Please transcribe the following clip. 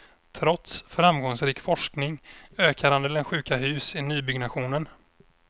Trots framgångsrik forskning ökar andelen sjuka hus i nybyggnationen.